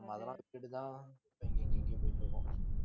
நம்ம அதெல்லாம் விட்டுட்டு தான் எங்கே~ எங்கே~ எங்கேயோ போயிட்டிருக்கோம்